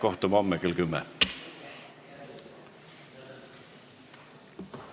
Kohtume homme kell 10.